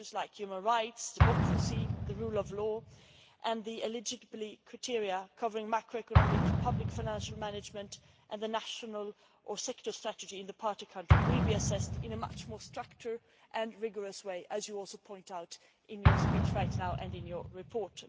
Issues like human rights, democracy, the rule of law and the eligibility criteria covering macroeconomic public financial management and the national or sector strategy in the partner country will be assessed in a much more structured and rigorous way, as you also pointed out in your speech just now and in your report.